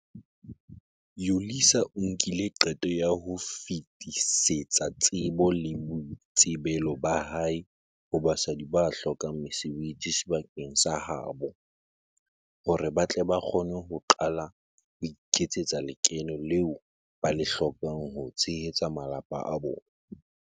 Yolisa o nkile qeto ya ho fetisetsa tsebo le boitsebelo ba hae ho basadi ba hlokang mesebetsi sebakeng sa ha bo, hore ba tle ba kgone ho qala ho iketsetsa lekeno leo ba le hlokang ho tshehetsa malapa a bona.